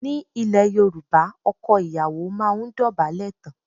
Ní ile Yorùbá, ọkọ ìyàwó máa ń dobale tán.